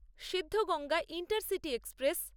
Siddhaganga intercity express